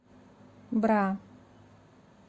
бра